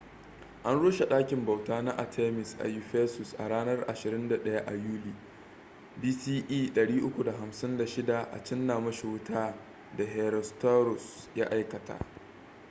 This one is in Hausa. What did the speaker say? an rushe ɗakin bauta na artemis a ephesus a ranar 21 a yuli 356 bce a cinna mashi wuta da herostratus ya aikata